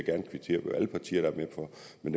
jeg